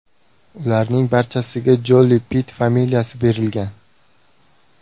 Ularning barchasiga Joli-Pitt familiyasi berilgan.